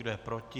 Kdo je proti?